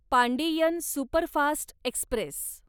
Pandian superfast Express